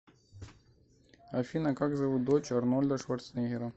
афина как зовут дочь арнольда шварценеггера